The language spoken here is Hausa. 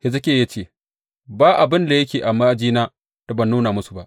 Hezekiya ya ce, Ba abin da yake a ma’ajina da ban nuna musu ba.